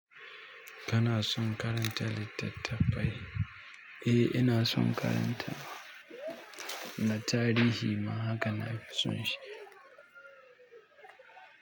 Kana son karanta littattafai? Eh inason kayan ta, na tarihi ma haka nafi son shi.